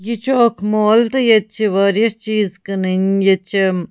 یہِ چُھ اکھ مال .تہٕ ییٚتہِ چھ واریاہ چیٖز کٔنٕنۍییٚتہِ چھ